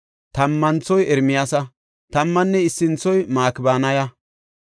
tammanthoy Ermiyaasa; tammanne issanthoy Makibanaya.